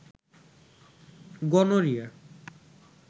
gonorrhoea